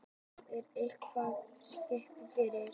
Þar er eitthvað skipulag fyrir.